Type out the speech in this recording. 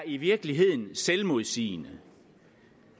i virkeligheden er selvmodsigende